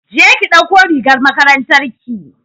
je ki ɗauko rigar makarantar ki!